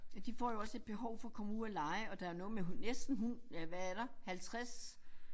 De får jo også et behov for komme ud og lege og der noget med næsten hund ja hvad er der 50